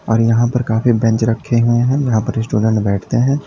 और यहां पर काफी बेंच रखे हुए हैं यहां पर स्टूडेंट बैठते हैं।